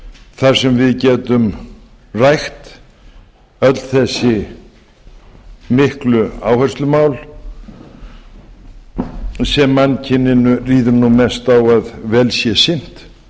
þar sem við getum rætt öll þessi miklu áherslumál sem mannkyninu ríður nú mest á að vel sé sinnt